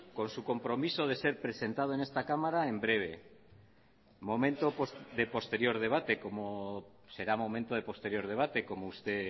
con su compromiso de ser presentado en esta cámara en breve será momento de posterior debate como usted